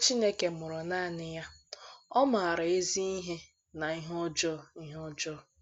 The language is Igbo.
Ọkpara Chineke mụrụ nanị ya, ọ̀ maara “ ezi ihe na ihe ọjọọ ihe ọjọọ. ”